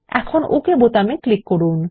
এখন ওকে বোতামে ক্লিক করুন